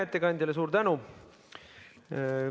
Ettekandjale suur tänu!